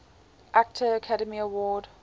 actor academy award